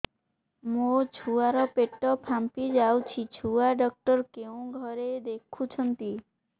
ମୋ ଛୁଆ ର ପେଟ ଫାମ୍ପି ଯାଉଛି ଛୁଆ ଡକ୍ଟର କେଉଁ ଘରେ ଦେଖୁ ଛନ୍ତି